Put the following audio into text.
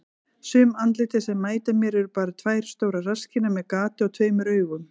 Sum andlitin sem mæta mér eru bara tvær stórar rasskinnar með gati og tveimur augum.